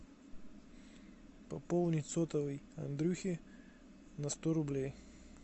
пополнить сотовый андрюхи на сто рублей